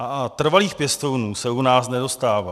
A trvalých pěstounů se u nás nedostává.